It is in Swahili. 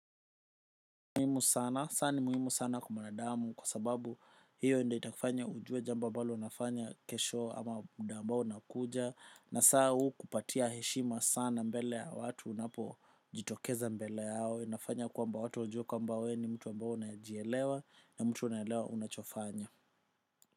Muhimu sana, sana ni muhimu sana kwa mwanadamu kwa sababu hiyo ndio itakufanya ujue jambo ambalo unafanya kesho ama muda ambao nakuja na saa huu kupatia heshima sana mbele ya watu unapo jitokeza mbele yao inafanya kwamba watu wajue kwamba wewe ni mtu ambao unajielewa na mtu unaelewa unachofanya.